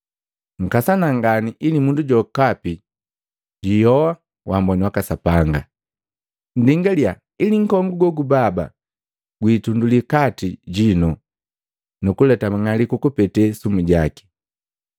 Nkasana ngani ili mundu jokapi jwi ihoha waamboni waka Sapanga. Nndingalia ili nkongu gogubaba gwi itunduli kati jinu nu kuleta mang'aliku kupete sumu jaki.